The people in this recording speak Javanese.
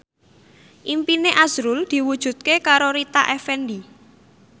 impine azrul diwujudke karo Rita Effendy